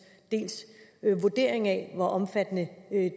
vurdering af hvor omfattende